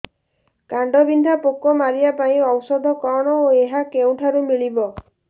କାଣ୍ଡବିନ୍ଧା ପୋକ ମାରିବା ପାଇଁ ଔଷଧ କଣ ଓ ଏହା କେଉଁଠାରୁ ମିଳିବ